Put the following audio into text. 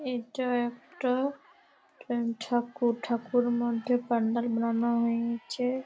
এটা একটা ঠাকুর ঠাকুর মধ্যে পান্ডাল বানানো হইয়েছে।